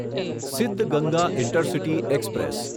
Siddaganga intercity express